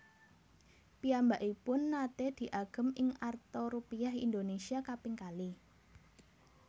Piyambakipun naté diagem ing arta Rupiah Indonesia kaping kalih